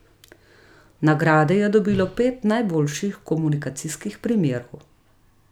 Nagrade je dobilo pet najboljših komunikacijskih primerov.